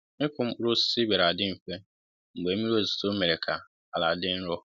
ịkụ mkpụrụ osisi bịara dị mfe mgbe mmiri ozizo mere kà àlà dị nro